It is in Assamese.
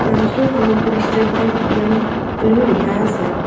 ব্ৰাঞ্চটোৰ সন্মুখত ষ্টেট বেংক এ_টি_এম বুলিও লিখা আছে।